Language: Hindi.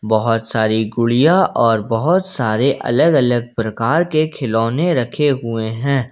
बहोत सारी गुड़िया और बहोत सारे अलग-अलग प्रकार के खिलौने रखे हुए हैं।